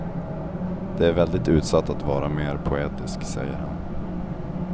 Det är väldigt utsatt att vara mer poetisk, säger han.